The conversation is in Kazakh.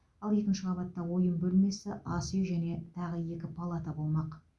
ал екінші қабатта ойын бөлмесі ас үй және тағы екі палата болмақ